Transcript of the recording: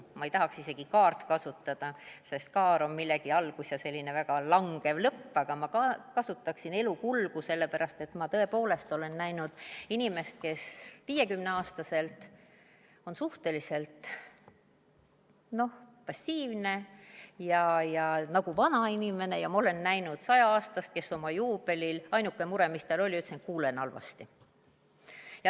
Ma ei tahaks isegi kasutada sõna „elukaar“, sest kaarel on algus ja selline väga langev lõpp, aga ma kasutaksin sõna „elukulg“, sellepärast et ma tõepoolest olen näinud inimest, kes 50-aastaselt on suhteliselt passiivne ja nagu vanainimene, ja ma olen näinud 100-aastast, kes ütles oma juubelil, et ainuke mure, on see, et ta kuuleb halvasti.